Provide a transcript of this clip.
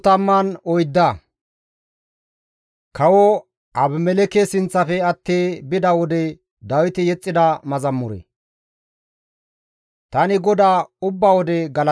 Tani GODAA ubba wode galatana; iza galatay ay wodenkka ta doonappe paccenna.